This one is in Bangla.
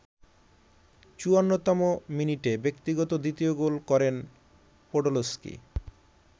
৫৪তম মিনিটে ব্যক্তিগত দ্বিতীয় গোল করেন পোডলস্কি।